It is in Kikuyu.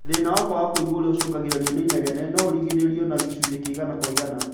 Thĩna wa kwaga kũigua ũrĩa ũcũngagĩrĩrio nĩ inegene, no ũrigĩrĩrio na gĩcunjĩ kĩa igana kwa igana